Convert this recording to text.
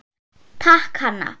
Takk, Hanna.